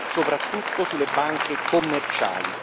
soprattutto sulle banche commerciali.